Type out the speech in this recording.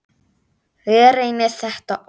Látið sýrast helst yfir nótt.